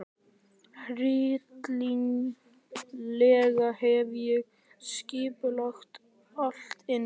Hryllilega hef ég skipulagt allt illa.